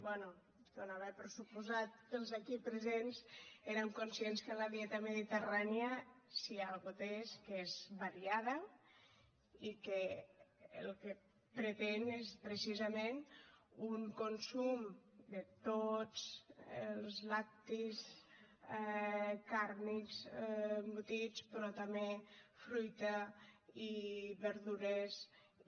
bé donava per suposat que els aquí presents érem conscients que la dieta mediterrània si alguna cosa té és que és variada i que el que pretén és precisament un consum de tots els làctics càrnics embotits però també fruita i verdures i